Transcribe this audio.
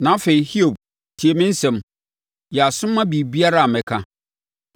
“Na afei, Hiob, tie me nsɛm; yɛ aso ma biribiara a mɛka.